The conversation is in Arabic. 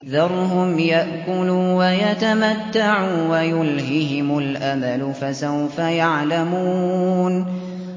ذَرْهُمْ يَأْكُلُوا وَيَتَمَتَّعُوا وَيُلْهِهِمُ الْأَمَلُ ۖ فَسَوْفَ يَعْلَمُونَ